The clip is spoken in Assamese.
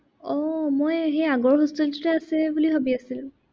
আহ মই সেই আগৰ hostel টোতে আছে বুলি ভাবি আছিলো।